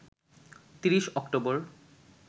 ৩০ October